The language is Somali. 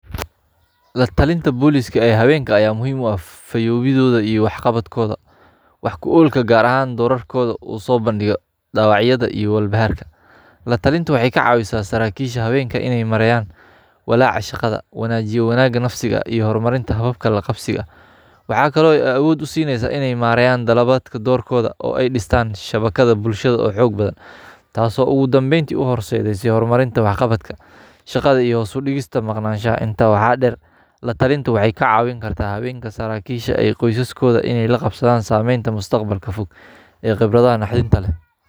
La-talinta booliiska oo haweeneydu ayaa muhiim u ah fayo-welgooda iyo waax qabadkooda, waax ku oggolkooda, gaar ahaan waax qabadkooda la soo bandhigo dhibaatooyinka iyo walbahaarka. La-talintu waxay ka caawisaa saraakiisha haweenka in ay marayaan walbahaarka shaqada, wanaajiso wanaagga nafsiga iyo horumarinta hababka la-qabsiga. Waxay kaloo door u siineysaa in ay marayaan dalabka doorkooda oo ay dhistaan shabakad bulsho oo xoog badan taas oo ugu dambeyntii ugu horseedeysa horumarinta waax qabadka shaqada iyo hoos u dhigista maqnaanshaha. Intaa waxaa dheer, la-talintu waxay ka caawin kartaa haweenka saraakiisha in ay la qabsadaan qoysaskooda, sameynta mustaqbalka fog iyo khibradaha naxdinta leh.